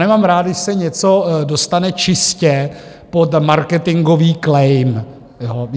Nemám rád, když se něco dostane čistě pod marketingový claim.